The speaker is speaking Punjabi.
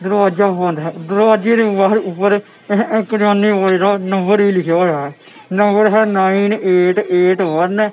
ਦਰਵਾਜਾ ਬੰਦ ਹੈ ਦਰਵਾਜੇ ਦੇ ਬਾਹਰ ਉੱਪਰ ਏਹ ਏਹ ਕਿਰਿਆਨੇ ਵਾਲੇ ਦਾ ਨੰਬਰ ਵੀ ਲਿਖਿਆ ਹੋਇਆ ਐ ਨੰਬਰ ਹੈ ਨਾਇਨ ਏਟ ਏਟ ਵਨ ।